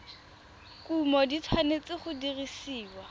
kumo di tshwanetse go dirisiwa